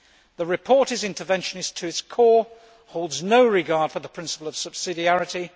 The report is interventionist to its core and holds no regard for the principle of subsidiarity.